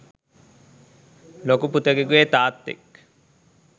ලොකු පුතෙකුගේ තාත්තෙක්